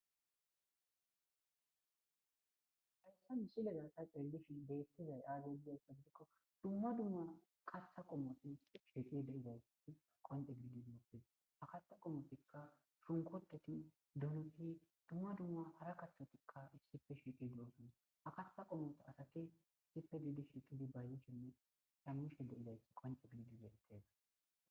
Oge bollan keehidi daro Asati uttidi be sinththen dumma dumma aypa aypeta lemisos shunkurtotanne doonota wothidi cugan cuugan bayzishe de'osonna.